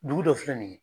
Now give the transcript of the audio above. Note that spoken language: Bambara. Dugu dɔ filɛ nin ye